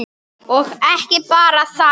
Og ekki bara það: